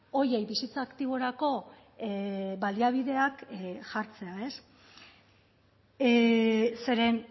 horiei bizitza aktiborako baliabideak jartzea zeren